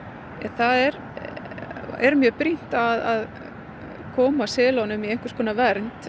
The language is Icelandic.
það er er mjög brýnt að koma selunum í einhverskonar vernd